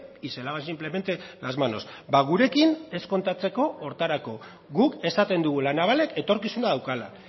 y se lava simplemente las manos gurekin ez kontatzeko horretarako guk esaten dugu la navalek etorkizuna daukala